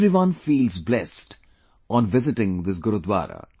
Everyone feels blessed on visiting this Gurudwara